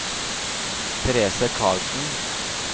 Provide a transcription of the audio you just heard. Therese Carlsen